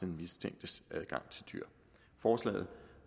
mistænktes adgang til dyr forslaget